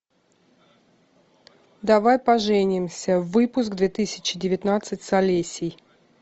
давай поженимся выпуск две тысячи девятнадцать с олесей